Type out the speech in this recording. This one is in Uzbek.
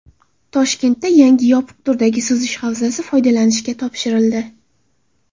Toshkentda yangi yopiq turdagi suzish havzasi foydalanishga topshirildi.